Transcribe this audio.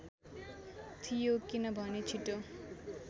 थियो किनभने छिटो